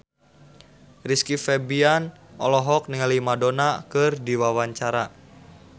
Rizky Febian olohok ningali Madonna keur diwawancara